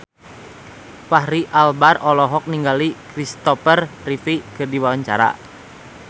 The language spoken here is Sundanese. Fachri Albar olohok ningali Kristopher Reeve keur diwawancara